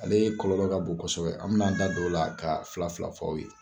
Ale ye kɔlɔlɔ ka bon kosɛbɛ, an bɛ n'an da don o la ka fila fila f'aw ye.